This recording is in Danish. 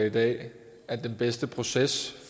i dag at den bedste proces